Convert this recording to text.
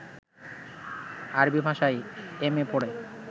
আরবি ভাষায় M A পড়ে